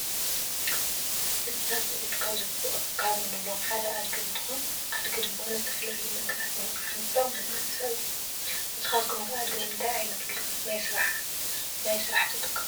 እንስሳ ዘቤት ካብ እንብሎም ሓደ አድጊ እንትኮን አድጊ ድማ ንዝተፈላለዩ ነገራት ንምፅዓን ዝጠቅመና እንስሳ እዩ ።ንስካትኩም ከ አድጊ ንምንታይ ዓይነት ግልጋሎት ናይ ስራሕ ትጥቀሙሉ?